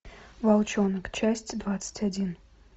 волчонок часть двадцать один